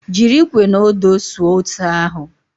Jiri ikwe na odo suo ose ahu